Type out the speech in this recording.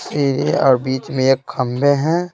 ठी और बीच में एक खंबे हैं।